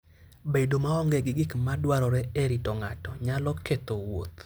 Bedo maonge gi gik madwarore e rito ng'ato, nyalo ketho wuoth.